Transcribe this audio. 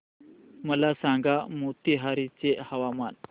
मला सांगा मोतीहारी चे हवामान